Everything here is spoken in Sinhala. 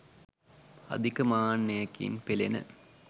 අධික මාන්නයකින් පෙළෙන